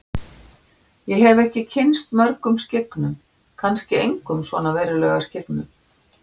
Ég hef ekki kynnst mörgum skyggnum, kannski engum svona verulega skyggnum.